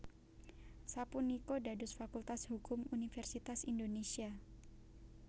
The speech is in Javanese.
sapunika dados Fakultas Hukum Universitas Indonésia